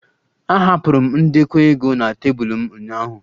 Ahapụrụ m ndekọ ego na tebụl m ụnyaahụ